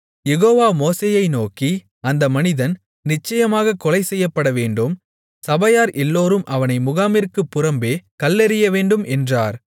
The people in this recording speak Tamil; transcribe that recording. யெகோவா மோசேயை நோக்கி அந்த மனிதன் நிச்சயமாகக் கொலைசெய்யப்படவேண்டும் சபையார் எல்லோரும் அவனை முகாமிற்குப் புறம்பே கல்லெறியவேண்டும் என்றார்